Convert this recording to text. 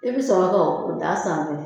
I bɛ sɔrɔ ka o d'a sanfɛ